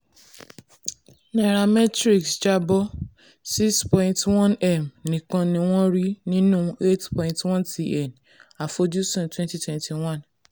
nairametrics jábọ́: six point one m nìkan ni wọ́n rí nínú eight pint one tn àfojúsùn àfojúsùn twenty twenty one.